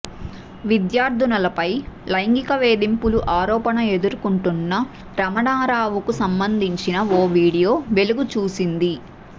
విద్యార్థునులపై లైంగిక వేధింపుల ఆరోపణ ఎదుర్కొంటున్న రమణారావుకు సంబంధించిన ఓ వీడియో వెలుగు చూసింది